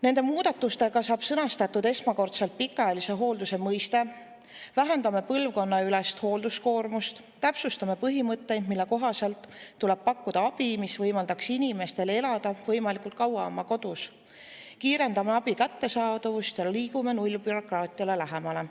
Nende muudatustega saab esmakordselt sõnastatud pikaajalise hoolduse mõiste, me vähendame põlvkonnaülest hoolduskoormust, täpsustame põhimõtte, mille kohaselt tuleb pakkuda abi, mis võimaldaks inimestel elada võimalikult kaua oma kodus, kiirendame abi kättesaadavust ja liigume nullbürokraatiale lähemale.